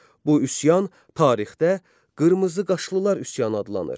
Bu üsyan tarixdə "Qırmızı qaşlılar" üsyanı adlanır.